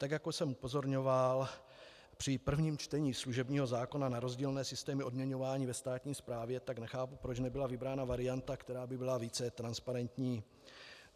Tak jako jsem upozorňoval při prvním čtení služebního zákona na rozdílné systémy odměňování ve státní správě, tak nechápu, proč nebyla vybrána varianta, která by byla více transparentní.